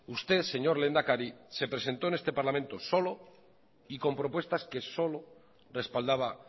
usted señor lehendakari se presentó en este parlamento solo y con propuestas que solo respaldaba